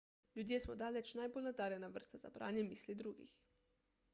ljudje smo daleč najbolj nadarjena vrsta za branje misli drugih